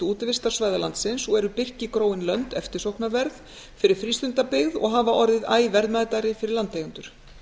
útivistarsvæða landsins og eru birkigróin lönd eftirsóknarverð fyrir frístundabyggð og hafa orðið æ verðmætari fyrir landeigendur